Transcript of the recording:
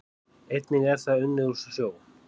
Einnig er það unnið úr sjó